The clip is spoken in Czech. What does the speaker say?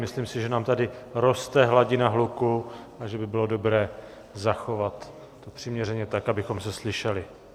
Myslím si, že nám tady roste hladina hluku a že by bylo dobré zachovat to přiměřeně tak, abychom se slyšeli.